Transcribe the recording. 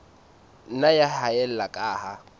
nna ya haella ka ha